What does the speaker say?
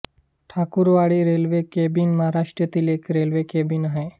Thakurwadi railway cabin महाराष्ट्रातील एक railway cabin आहे